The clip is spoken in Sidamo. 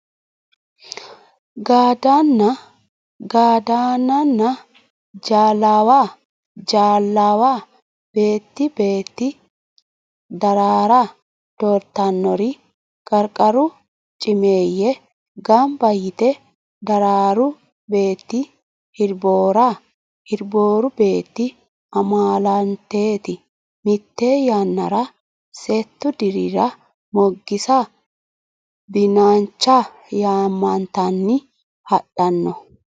Gadaannanna ja laawa beetti beetti Daraara doortannori qarqaru cimeeyye gamba yite Daraaru beetti Hirboora Hirbooru beetti amaalanteeti Mitte yannara settu dirira Moggisa Binancha yaamantanni hadhanno.